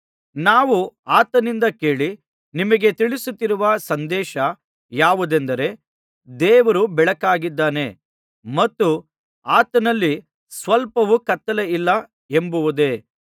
ನಾವು ಆತನಿಂದ ಕೇಳಿ ನಿಮಗೆ ತಿಳಿಸುತ್ತಿರುವ ಸಂದೇಶ ಯಾವುದೆಂದರೆ ದೇವರು ಬೆಳಕಾಗಿದ್ದಾನೆ ಮತ್ತು ಆತನಲ್ಲಿ ಸ್ವಲ್ಪವೂ ಕತ್ತಲೆಯಿಲ್ಲ ಎಂಬುದೇ